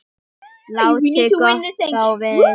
Láti gott á vita.